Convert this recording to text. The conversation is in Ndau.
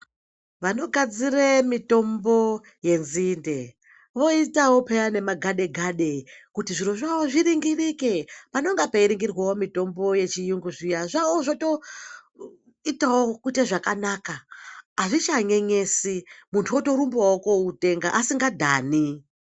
Vanogadzire mitombo yenzinde voitayo peya nemagade-gade kuti zviro zvawo zviringirike panenge peringirwawo mitombo yechiyungu zviya, zvavo zvotoitawo kuite zvakanaka. Hazvichanyenyesi, muntu wotorumbawo kooutenga asingadhani.